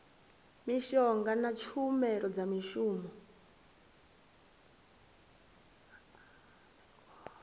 mishonga na tshumelo dza mishonga